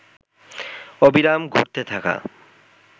অবিরাম ঘুরতে থাকা